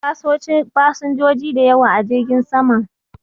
Akwai fasinjoji da yawa a jirgin saman.